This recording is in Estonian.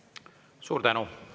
Suur tänu!